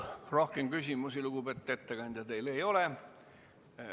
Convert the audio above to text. Rohkem küsimusi, lugupeetud ettekandja, teile ei ole.